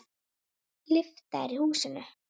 Lyfta er í húsinu.